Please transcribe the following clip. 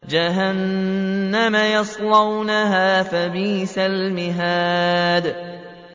جَهَنَّمَ يَصْلَوْنَهَا فَبِئْسَ الْمِهَادُ